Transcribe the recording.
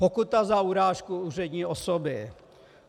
Pokuta za urážku úřední osoby.